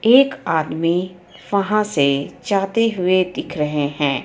एक आदमी वहां से जाते हुई दिख रहे हे.